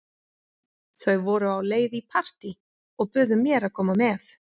Þau voru á leið í partí og buðu mér að koma með.